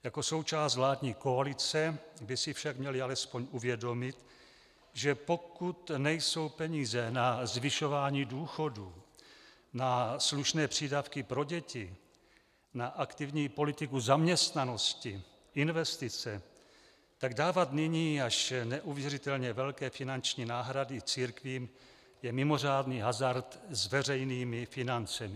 Jako součást vládní koalice by si však měli alespoň uvědomit, že pokud nejsou peníze na zvyšování důchodů, na slušné přídavky pro děti, na aktivní politiku zaměstnanosti, investice, tak dávat nyní až neuvěřitelně velké finanční náhrady církvím je mimořádný hazard s veřejnými financemi.